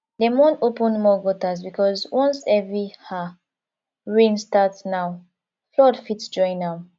dem wan open more gutters because once heavy um rain start now flood fit join am